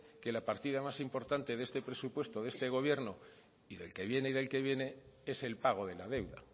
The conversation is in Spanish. que la partida más importante de este presupuesto de este gobierno y del que vienen y del que viene es el pago de la deuda